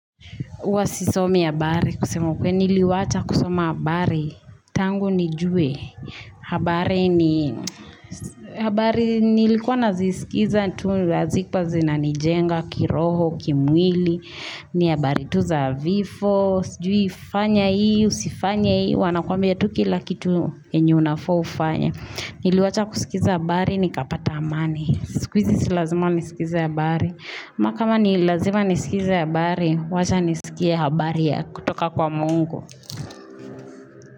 Uwa sisomi habari kusema ukweli niliwacha kusoma habari tangu nijue habari ni habari nilikuwa nazisikiza tu hazikuwa zina nijenga kiroho kimwili ni habari tu za vifo sijuifanya hii usifanye hii wanakuambia tu kila kitu enye unafaa ufanye niliwacha kusikiza habari nikapata amani sikwizi silazima nisikize habari ama kama nilazima nisikize habari wacha nisikie habari ya kutoka kwa Mungu.